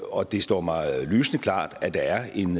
og det står mig lysende klart at der er en